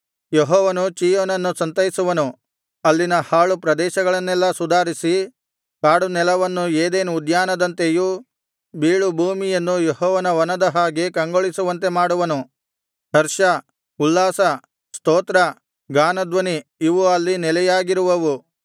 ಯೆಹೋವನು ಚೀಯೋನನ್ನು ಸಂತೈಸುವನು ಅಲ್ಲಿನ ಹಾಳು ಪ್ರದೇಶಗಳನ್ನೆಲ್ಲಾ ಸುಧಾರಿಸಿ ಕಾಡುನೆಲವನ್ನು ಏದೆನ್ ಉದ್ಯಾನದಂತೆಯೂ ಬೀಳುಭೂಮಿಯನ್ನು ಯೆಹೋವನ ವನದ ಹಾಗೆ ಕಂಗೊಳಿಸುವಂತೆ ಮಾಡುವನು ಹರ್ಷ ಉಲ್ಲಾಸ ಸ್ತೋತ್ರ ಗಾನಧ್ವನಿ ಇವು ಅಲ್ಲಿ ನೆಲೆಯಾಗಿರುವವು